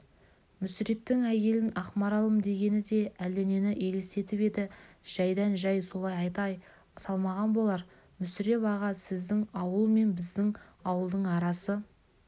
мүсірептің әйелін ақмаралым дегені де әлденені елестетіп еді жайдан-жай солай атай салмаған болар мүсіреп аға сіздің ауыл мен біздің ауылдың арасы